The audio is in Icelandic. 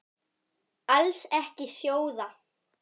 Alls ekki sjóða.